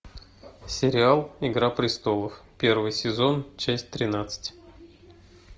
сериал игра престолов первый сезон часть тринадцать